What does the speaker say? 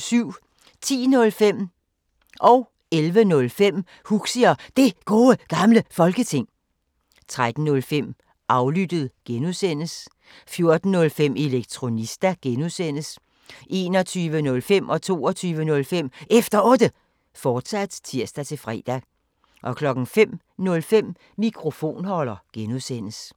10:05: Huxi og Det Gode Gamle Folketing 11:05: Huxi og Det Gode Gamle Folketing, fortsat 13:05: Aflyttet G) 14:05: Elektronista (G) 21:05: Efter Otte, fortsat (tir-fre) 22:05: Efter Otte, fortsat (tir-fre) 05:05: Mikrofonholder (G)